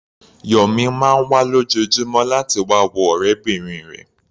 Yọ̀mí máa ń wá lójoojúmọ́ láti wá wo ọ̀rẹ́bìnrin rẹ̀.